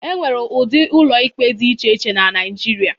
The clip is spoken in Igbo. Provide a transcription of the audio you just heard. E nwere ụdị ụlọ ikpe dị iche iche na Naịjirịa.